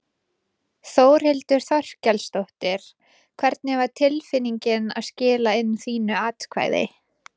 Þórhildur Þorkelsdóttir: Hvernig var tilfinningin að skila inn þínu atkvæði?